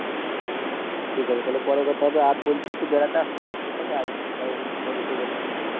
ঠিক আছে তাহলে পরে কথা হবে আর বলছি একটু বেড়াতে আসতে পারিস ঠিক আছে আজ কারণ ঠাকুর বিসর্জন আছে